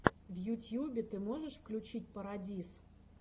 в ютьюбе ты можешь включить парадиз